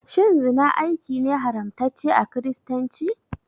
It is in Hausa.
Shin zina aiki ne haramtacce a kiristanci?